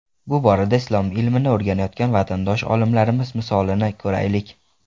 Bu borada islom ilmini o‘rganayotgan vatandosh olimlarimiz misolini ko‘raylik.